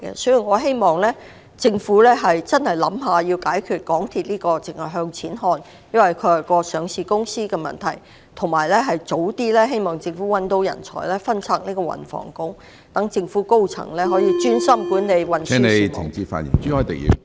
所以，我希望政府切實考慮如何解決港鐵公司作為上市公司，一切只向錢看的問題，並希望政府早日覓得人才，把運輸及房屋局分拆，以便政府高層可......專心管理運輸事務。